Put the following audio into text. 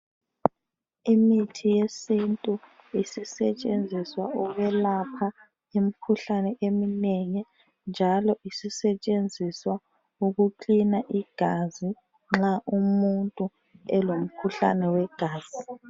Imithi yesintu isisetshenziswa ukulapha imikhuhlane eminengi njalo isisetshenziswa ukuklina igazi nxa umuntu elomkhuhlane wegazi.